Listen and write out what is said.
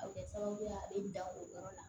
A bɛ kɛ sababu ye a bɛ dan o yɔrɔ la